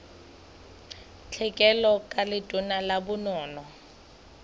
tlhekelo ka letona la bonono